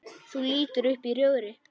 Þú lítur upp í rjóðri.